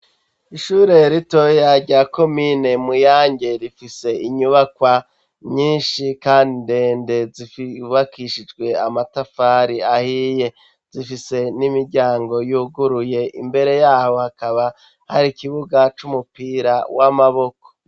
Ishure rito yarya komine Muyange rifise inyubakwa myinshi kandi ndende, zibakishijwe amatafari ahiye, zifise n'imiryango y'uguruye, imbere yaho hakaba hari ikibuga c'Umupira w'Amaboko.